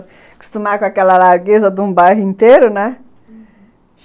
Acostumar com aquela largueza de um bairro inteiro, né? Uhum.